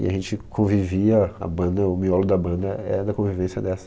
E a gente convivia, a banda, o miolo da banda é da convivência dessa.